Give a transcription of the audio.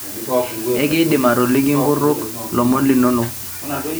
ekidim atoliki nkutik lomon linono